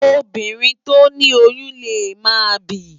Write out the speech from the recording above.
Óbírìn tó ni óyùn lé má bìí